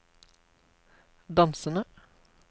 dansende